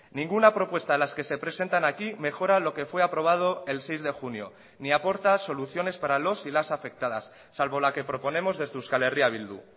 ninguna propuesta de las que se presentan aquí mejora lo que fue aprobado el seis de junio ni aporta soluciones para los y las afectadas salvo la que proponemos desde euskal herria bildu